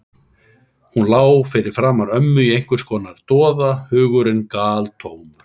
Hún lá fyrir framan ömmu í einhvers konar doða, hugurinn galtómur.